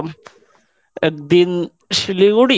একদিন শিলিগুড়ি।